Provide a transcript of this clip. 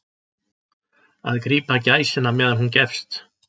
Að grípa gæsina meðan hún gefst